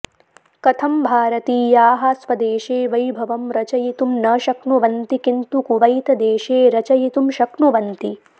कथं भारतीयाः स्वदेशे वैभवं रचयितुं न शक्नुवन्ति किन्तु कुवैतदेशे रचयितुं शक्नुवन्ति